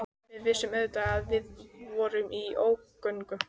Við vissum auðvitað að við vorum í ógöngum.